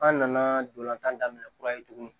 An nana dolantan daminɛ kura ye tugunni